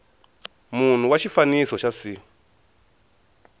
munhu wa xifaniso xa c